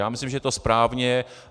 Já myslím, že to je správné.